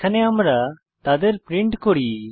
এখানে আমরা তাদের প্রিন্ট করি